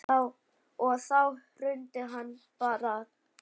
Og þá hrundi hann bara.